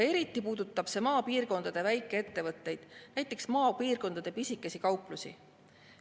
Eriti puudutab see maapiirkondade väikeettevõtteid, näiteks maapiirkondade pisikesi kauplusi.